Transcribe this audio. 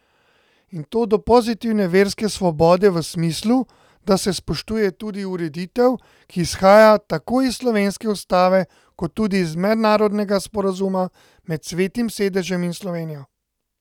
In to do pozitivne verske svobode v smislu, da se spoštuje tudi ureditev, ki izhaja tako iz slovenske ustave kot tudi iz mednarodnega sporazuma med Svetim sedežem in Slovenijo.